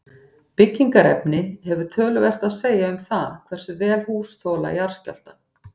Byggingarefni hefur töluvert að segja um það hversu vel hús þola jarðskjálfta.